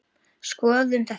Skoðum þetta